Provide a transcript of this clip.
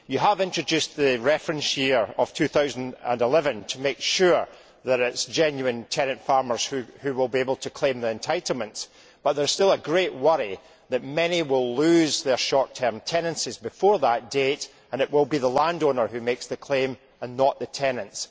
You have introduced the reference year of 2011 to make sure that it is genuine tenant farmers who will be able to claim the entitlements, but there is still a great worry that many will lose their short term tenancies before that date and it will be the landowner who makes the claim and not the tenants.